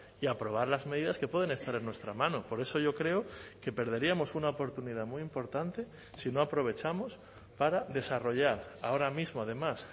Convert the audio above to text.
y aprobar las medidas que pueden estar en nuestra mano por eso yo creo que perderíamos una oportunidad muy importante si no aprovechamos para desarrollar ahora mismo además